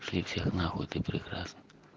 шли всех нахуй ты прекрасна